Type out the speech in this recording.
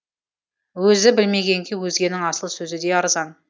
өзі білмегенге өзгенің асыл сөзі де арзан